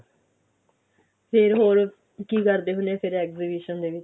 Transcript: ਫਿਰ ਹੋਰ ਕੀ ਕਰਦੇ ਹੁੰਦੇ ਓ ਫਿਰ exhibition ਦੇ ਵਿੱਚ